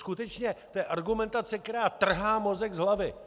Skutečně, to je argumentace, která trhá mozek z hlavy!